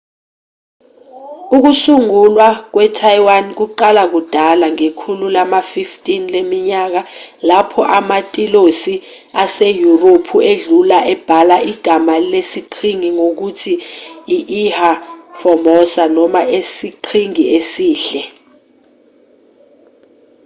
ukusungulwa kwetaiwan kuqala kudala ngekhulu lama-15 leminyaka lapho amatilosi aseyurophu edlula ebhala igama lesiqhingi ngokuthi i-ilha formosa noma isiqhingi esihle